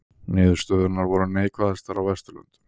Niðurstöðurnar voru neikvæðastar á Vesturlöndum